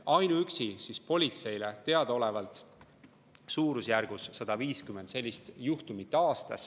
Ainuüksi politseile on teada suurusjärgus 150 sellist juhtumit aastas.